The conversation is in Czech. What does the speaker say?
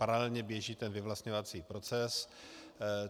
Paralelně běží ten vyvlastňovací proces.